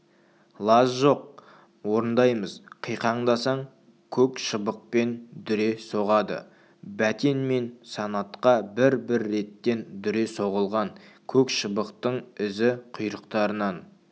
лаж жоқ орындаймыз қиқаңдасаң көк шыбықпен дүре соғады бәтен мен санатқа бір-бір реттен дүре соғылған көк шыбықтың ізі құйрықтарынан